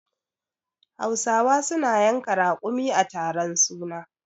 Do hausa people slaughter camel in a naming ceremony?